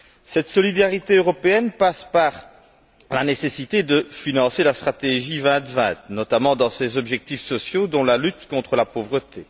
Cette solidarité européenne passe par la nécessité de financer la stratégie 2020, notamment dans ses objectifs sociaux dont la lutte contre la pauvreté.